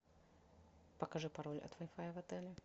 покажи пароль от вай фая в отеле